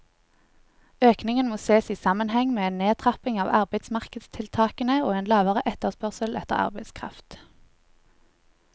Økningen må ses i sammenheng med en nedtrapping av arbeidsmarkedstiltakene og en lavere etterspørsel etter arbeidskraft.